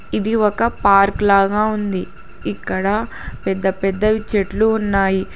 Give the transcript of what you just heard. ఇది ఒక పార్క్ లాగ ఉంది ఇక్కడ పెద్దపెద్దవి చెట్లు ఉన్నాయి.